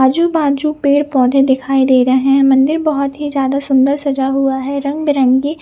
अजु बाजु पेड़ पौधे दिखाई दे रहे है मंदिर बहत ही ज्यादा सुन्दर सजा हुआ है रंग बिरंगे --